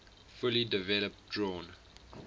fully developed drawn